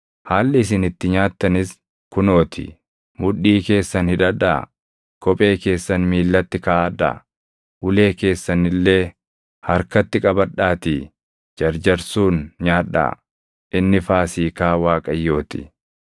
Haalli isin itti nyaattanis kunoo ti; mudhii keessan hidhadhaa; kophee keessan miillatti kaaʼadhaa; ulee keessan illee harkatti qabadhaatii jarjarsuun nyaadhaa; inni Faasiikaa Waaqayyoo ti.